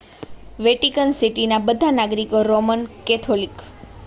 Vatican સિટીના બધા નાગરિકો રોમન કેથોલિક